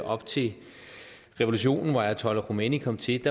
op til revolutionen hvor ayatollah khomeini kom til et